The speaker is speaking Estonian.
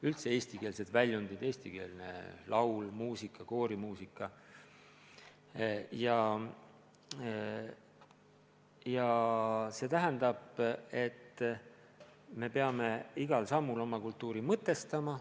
Üldse eestikeelsed väljundid, näiteks eestikeelne laul, sh koorimuusika – me peame igal sammul oma kultuuri mõtestama.